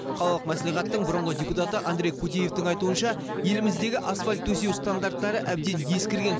қалалық мәслихаттың бұрынғы депутаты андрей кудеевтің айтуынша еліміздегі асфальт төсеу стандарттары әбден ескірген